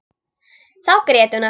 Þá grét hún aftur.